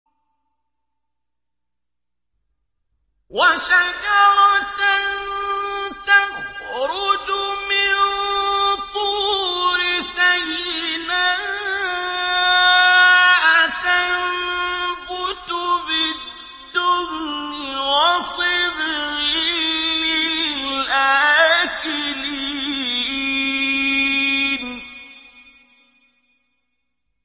وَشَجَرَةً تَخْرُجُ مِن طُورِ سَيْنَاءَ تَنبُتُ بِالدُّهْنِ وَصِبْغٍ لِّلْآكِلِينَ